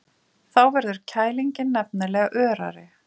Þá verður kælingin nefnilega örari.